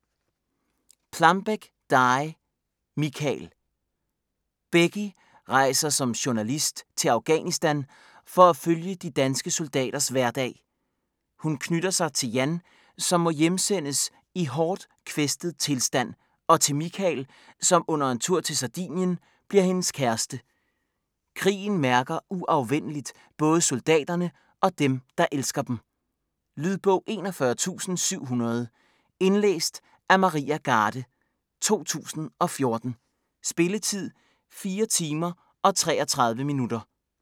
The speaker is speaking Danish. Plambeck, Dy: Mikael Becky rejser som journalist til Afghanistan for at følge de danske soldaters hverdag. Hun knytter sig til Jan, som må hjemsendes i hårdt kvæstet tilstand, og til Mikael, som under en tur til Sardinien bliver hendes kæreste. Krigen mærker uafvendeligt både soldaterne og dem, der elsker dem. Lydbog 41700 Indlæst af Maria Garde, 2014. Spilletid: 4 timer, 33 minutter.